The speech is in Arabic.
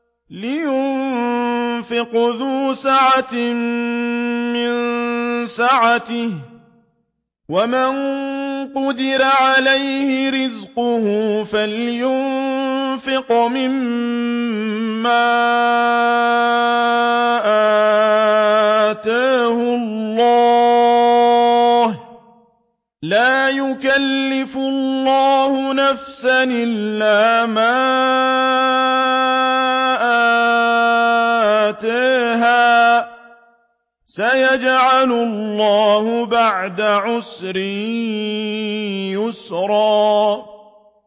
لِيُنفِقْ ذُو سَعَةٍ مِّن سَعَتِهِ ۖ وَمَن قُدِرَ عَلَيْهِ رِزْقُهُ فَلْيُنفِقْ مِمَّا آتَاهُ اللَّهُ ۚ لَا يُكَلِّفُ اللَّهُ نَفْسًا إِلَّا مَا آتَاهَا ۚ سَيَجْعَلُ اللَّهُ بَعْدَ عُسْرٍ يُسْرًا